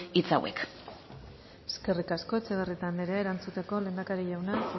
hitz hauek eskerik asko etxebarrieta anderea erantzuteko lehendakari jauna